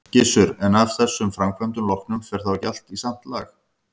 Gissur: En af þessum framkvæmdum loknum, fer þá ekki allt í samt lag?